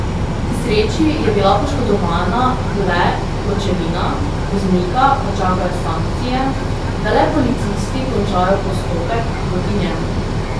K sreči je bila poškodovana le pločevina, voznika pa čakajo sankcije, da le policisti končajo postopek proti njemu.